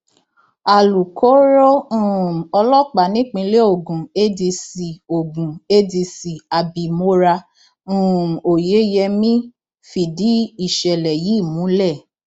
alūkkóró um ọlọpàá nípìnlẹ ogun adc ogun adc abimora um oyeyemí fìdí ìṣẹlẹ yìí múlẹ